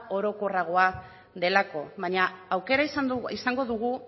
orokorragoa delako baina aukera izango dugu